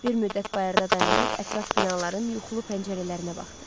Bir müddət bayırda dayanıb ətraf binaların yuxulu pəncərələrinə baxdı.